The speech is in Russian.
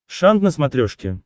шант на смотрешке